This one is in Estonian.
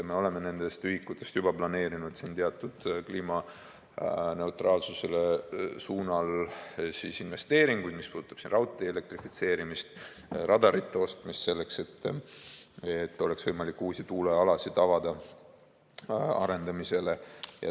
Me oleme nendest ühikutest juba planeerinud siin kliimaneutraalsuse suunal teatud investeeringuid, mis puudutab raudtee elektrifitseerimist, radarite ostmist, selleks et oleks võimalik uusi tuulealasid avada arendamisele.